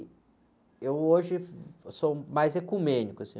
Eu hoje sou mais ecumênico, assim...